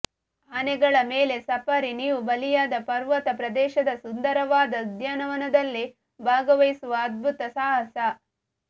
ಆನೆಗಳ ಮೇಲೆ ಸಫಾರಿ ನೀವು ಬಾಲಿಯಾದ ಪರ್ವತ ಪ್ರದೇಶದ ಸುಂದರವಾದ ಉದ್ಯಾನವನದಲ್ಲಿ ಭಾಗವಹಿಸುವ ಅದ್ಭುತ ಸಾಹಸ